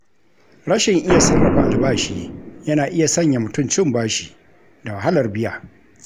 Rashin iya sarrafa albashi, yana iya sanya mutum cin bashi da wahalar biya.